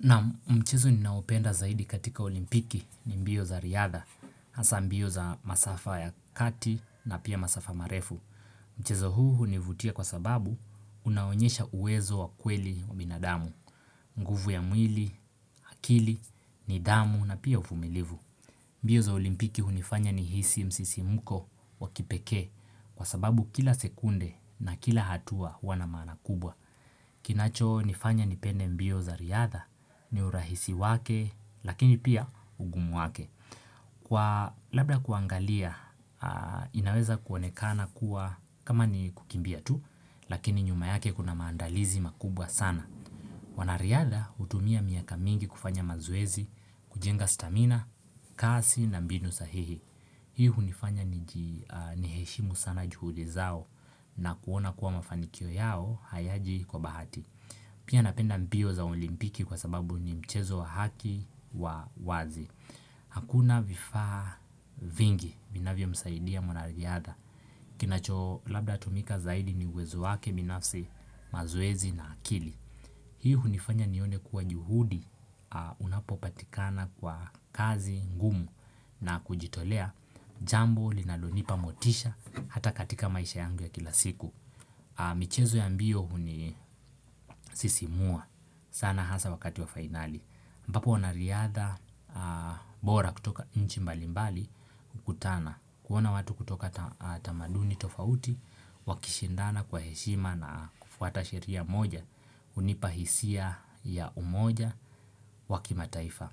Naam mchezo ninaopenda zaidi katika olimpiki ni mbio za riadha, hasa mbio za masafa ya kati na pia masafa marefu. Mchizo huu hunivutia kwa sababu unaonyesha uwezo wa kweli wa binadamu, mguvu ya mwili, akili, nidhamu na pia uvumilivu. Mbio za olimpiki hunifanya ni hisi msisi muko wa kipeke kwa sababu kila sekunde na kila hatua huana maana kubwa. Kinacho nifanya nipende mbio za riadha, ni urahisi wake, lakini pia ugumu wake. Kwa labda kuangalia, inaweza kuonekana kuwa kama ni kukimbia tu, lakini nyuma yake kuna maandalizi makubwa sana. Wanariadha utumia miaka mingi kufanya mazoezi, kujenga stamina, kasi na mbinu sahihi. Hiu nifanya ni heshimu sana juhudi zao na kuona kuwa mafanikio yao hayaji kwa bahati. Pia napenda mbio za olimpiki kwa sababu ni mchezo wa haki wa wazi. Hakuna vifaa vingi, minavyo msaidia mwanariadha. Kinacho labda tumika zaidi ni uwezo wake, binafsi mazoezi na akili. Hii hunifanya nione kuwa juhudi unapopatikana kwa kazi ngumu na kujitolea jambo linalonipa motisha hata katika maisha yangu ya kila siku. Michezo ya mbio huni sisimua sana hasa wakati wa finali mbapo wanariadha bora kutoka nchimbalimbali kutana kuona watu kutoka tamaduni tofauti, wakishindana kwa heshima na kufuata sheria moja Unipahisia ya umoja wakimataifa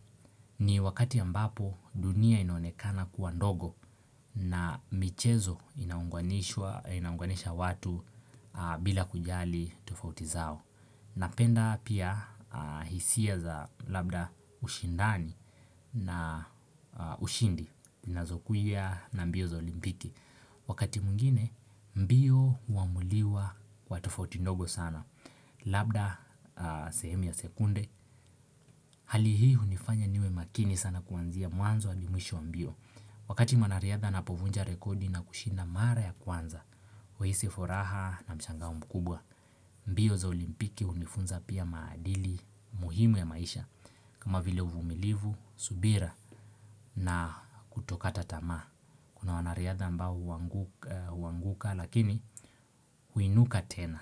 ni wakati ya mbapo dunia inonekana kuandogo na michezo inaunganisha watu bila kujali tufauti zao. Napenda pia hisia za labda ushindani na ushindi na zokuya na mbio za olimpiki Wakati mwingine mbio huamuliwa kwa tufauti ndogo sana Labda sehemu sekunde Halihihunifanya niwe makini sana kuanzia mwanzo adi mwisho wa mbio Wakati mwanariadha na povunja rekodi na kushinda mara ya kwanza, weisi foraha na mshangau mkubwa, mbio za olimpiki unifunza pia maadili muhimu ya maisha kama vile uvumilivu, subira na kutokata tama. Kuna wanariadha ambao uanguka lakini huinuka tena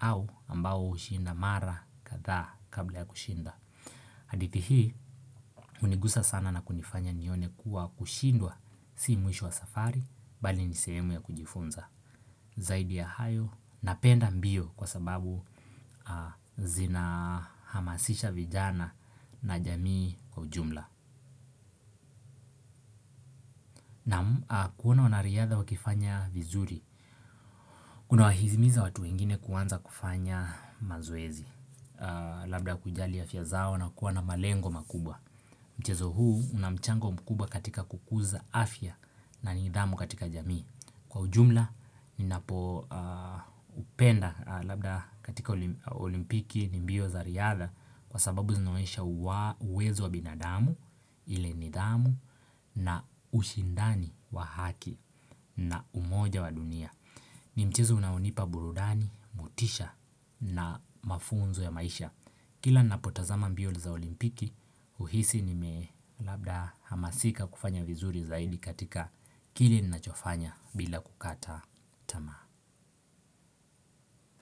au ambao ushinda mara katha kabla ya kushinda. Hadithi hii, unigusa sana na kunifanya nione kuwa kushindwa si mwisho wa safari, bali ni sehemu ya kujifunza. Zaidi ya hayo, napenda mbio kwa sababu zina hamasisha vijana na jamii kwa ujumla. Kuona wanariyadha wakifanya vizuri. Kuna wahizimiza watu ingine kuanza kufanya mazoezi. Labda kujali ya fya zao na kuona malengo makubwa. Mchezo huu unamchango mkubwa katika kukuza afya na ni idhamu katika jamii. Kwa ujumla ni napo upenda labda katika olimpiki ni mbio za riadha kwa sababu zinoesha uwezo wa binadamu ile ni idhamu na ushindani wa haki na umoja wa dunia. Ni mchezo unaonipa burudani, mutisha na mafunzo ya maisha Kila napotazama mbio za olimpiki uhisi ni me labda hamasika kufanya vizuri za hili katika kile ni nachofanya bila kukata tama.